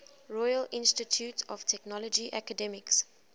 royal institute of technology academics